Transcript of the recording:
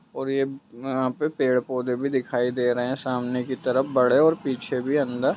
और ये यहाँ पे पेड़-पौधे भी दिखाई दे रहे हैं सामने की तरफ बड़े और पीछे भी अन्दर--